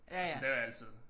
Og så der er altid